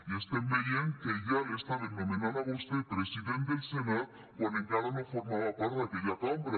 i estem veient que ja l’estaven nomenant a vostè president del senat quan encara no formava part d’aquella cambra